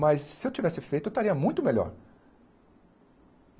Mas se eu tivesse feito, eu estaria muito melhor.